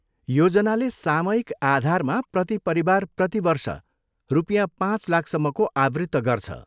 योजनाले सामयिक आधारमा प्रति परिवार प्रति वर्ष रुपियाँ पाँच लाखसम्मको आवृत्त गर्छ।